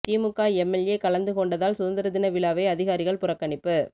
திமுக MLA கலந்து கொண்டதால் சுதந்திர தின விழாவை அதிகாரிகள் புறக்கணிப்பு